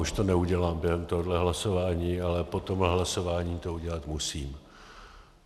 Už to neudělám během tohohle hlasování, ale po tomhle hlasování to udělat musím.